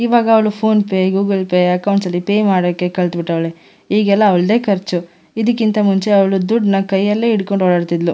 ಈವಾಗ ಅವ್ಳು PhonePe Google Pay accounts ನಲ್ಲಿ ಪೇ ಮಾಡೋಕ್ಕೆ ಕಲ್ತ್ ಬಿಟ್ವಲ್ಲೇ ಈಗೆಲ್ಲ ಅವ್ಳದೇ ಖರ್ಚು ಇದಕ್ಕಿಂತ ಮುಂಚೆ ಅವ್ಳು ದುಡ್ಡ್ ನ ಕೈ ನಲ್ಲೆ ಇಟ್ಟ್ಕೊಂಡೋ ಓಡಾಡ್ತಿತ್ಳು.